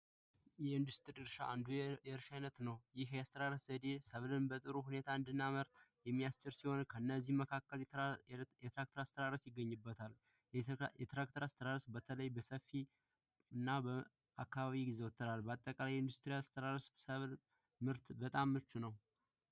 የኢንዱስትሪ እርሻ አንዱ የእርሻ አይነት ነው። ይህ የአስተራረስ ዘዴ ሰብልን በጥሩ ሁኔታ እንድናመርት የሚያችል ነው። ከእነዚህም መካከል የትራክተር አስተራረስ ይገኝበታል። የትራክተር አስተራረስ በተለይ በሰፊ ቦታ እና አከባቢ ይዘወተራል፤ አጠቃላይ የኢንዱስትሪ አስተራረስ ለምርት በጣም ምቹ ነው።